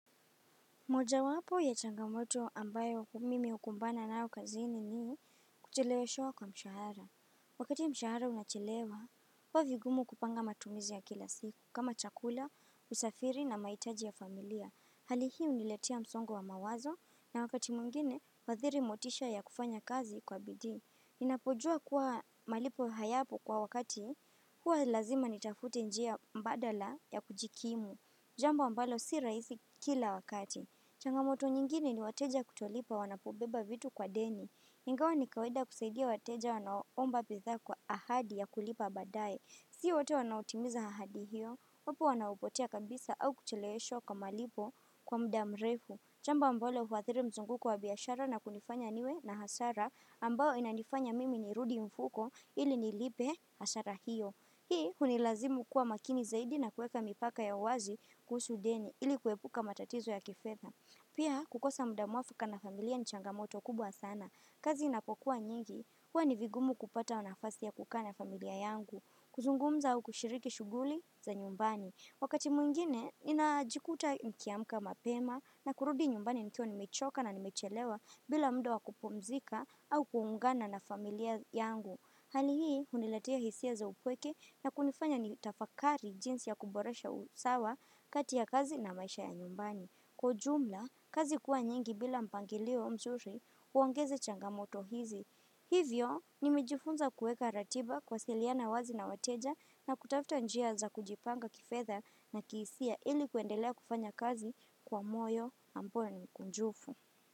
Moja wapo ya changamoto ambayo mimi hukumbana nayo kazini ni kucheleweshewa kwa mshahara. Wakati mshahara unachelewa, huwa vigumu kupanga matumizi ya kila siku kama chakula, usafiri na mahitaji ya familia. Hali hii huniletea msongo wa mawazo na wakati mwingine huathiri motisha ya kufanya kazi kwa bidii. Ninapojua kuwa malipo hayapo kwa wakati huwa lazima nitafute njia mbadala ya kujikimu. Jambo ambalo si rahisi kila wakati. Changamoto nyingine ni wateja kutolipa wanapobeba vitu kwa deni. Ingawa ni kawaida kusaidia wateja wanaoomba bidhaa kwa ahadi ya kulipa badaye. Si wote wanaotimiza ahadi hiyo. Wapo wanaopotea kabisa au kucheleweshwa kwa malipo kwa muda mrefu. Jambo ambalo huathiri mzunguko wa biashara na kunifanya niwe na hasara ambao inanifanya mimi nirudi mfuko ili nilipe hasara hiyo. Hii hunilazimu kuwa makini zaidi na kueka mipaka ya wazi kuhusu deni ili kuepuka matatizo ya kifetha. Pia kukosa muda mwafaka na familia ni changamoto kubwa sana. Kazi inapokua nyingi, huwa ni vigumu kupata nafasi ya kukaa na familia yangu. Kuzungumza au kushiriki shughuli za nyumbani. Wakati mwingine, ninajikuta nikiamka mapema na kurudi nyumbani nikiwa nimechoka na nimechelewa, bila muda wa kupumzika au kuungana na familia yangu. Hali hii, huniletea hisia za upweke na kunifanya nitafakari jinsi ya kuboresha usawa kati ya kazi na maisha ya nyumbani. Kwa ujumla, kazi kuwa nyingi bila mpangilio mzuri huongeza changamoto hizi. Hivyo, nimejifunza kuweka ratiba, kuwasiliana wazi na wateja, na kutafuta njia za kujipanga kifetha na kihisia ili kuendelea kufanya kazi kwa moyo ambao ni kunjufu.